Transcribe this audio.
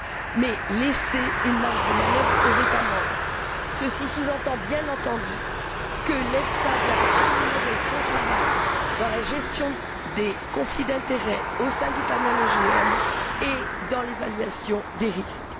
mais laisser une marge de manœuvre aux États membres. Ceci sous entend, bien entendu, que l'EFSA doit améliorer son travail dans la gestion des conflits d'intérêt au sein du panel OGM et dans l'évaluation des risques.